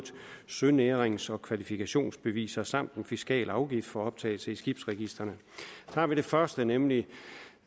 sønærings og kvalifikationsbeviser samt en fiskal afgift for optagelse i skibsregistrene tager vi det første nemlig